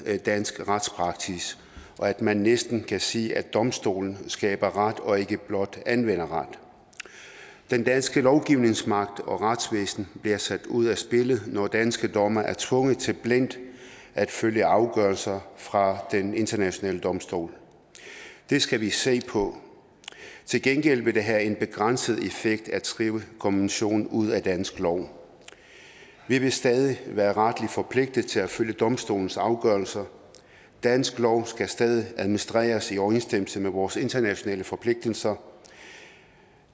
dansk retspraksis og at man næsten kan sige at domstolen skaber ret og ikke blot anvender ret den danske lovgivningsmagt og retsvæsen bliver sat ud af spillet når danske dommere er tvunget til blindt at følge afgørelser fra en international domstol det skal vi se på til gengæld vil det have en begrænset effekt at skrive konventionen ud af dansk lov vi vil stadig være retligt forpligtet til at følge domstolens afgørelser dansk lov skal stadig administreres i overensstemmelse med vores internationale forpligtelser